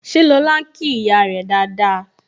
Ṣé lọ́la ń kí ìyá rẹ dáadáa?